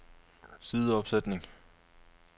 sideopsætning